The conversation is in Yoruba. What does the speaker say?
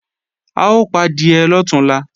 A ó padìẹ lọ̀túnla